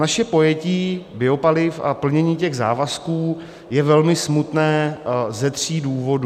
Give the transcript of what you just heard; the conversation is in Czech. Naše pojetí biopaliv a plnění těch závazků je velmi smutné ze tří důvodů.